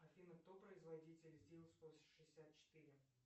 афина кто производитель зил сто шестьдесят четыре